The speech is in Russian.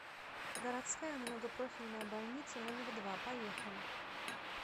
городская многопрофильная больница номер два поехали